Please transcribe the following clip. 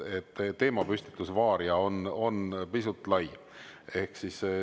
Teemapüstitus "Varia" on pisut lai.